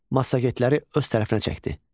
Massagetləri öz tərəfinə çəkdi.